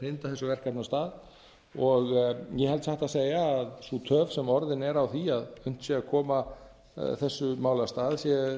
hrinda þessu verkefni af stað ég held satt að segja að sú töf sem orðin er á því að unnt sé að koma þessu máli af stað sé